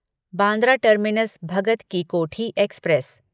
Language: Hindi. Bandra Terminus Bhagat Ki Kothi express